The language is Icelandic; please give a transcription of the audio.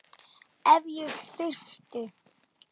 Ef ég þyrfti.